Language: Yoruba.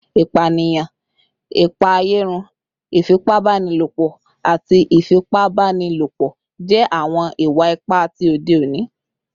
Ipaniyan, ipaeyarun, ifipabanilopo, ati ifipabanilopo jẹ awọn iwa-ipa ti ode oni